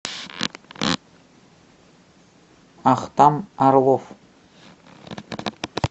ахтам орлов